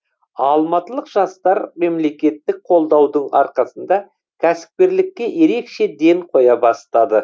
алматылық жастар мемлекеттік қолдаудың арқасында кәсіпкерлікке ерекше ден қоя бастады